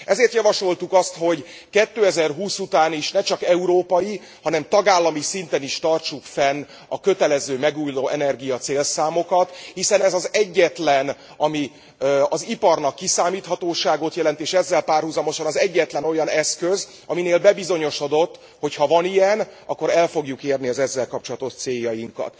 Ezért javasoltuk azt, hogy 2020 után is ne csak európai, hanem tagállami szinten is tartsuk fenn a kötelező megújulóenergia célszámokat, hiszen ez az egyetlen, ami az iparnak kiszámíthatóságot jelent, és ezzel párhuzamosan az egyetlen olyan eszköz, aminél bebizonyosodott, hogy ha van ilyen, akkor el fogjuk érni az ezzel kapcsolatos céljainkat.